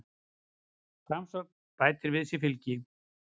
Framsókn bætir við sig fylgi